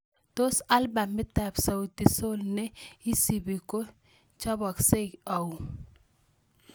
Tos' albamitap Sauti Sol ne isibu ko choboksei au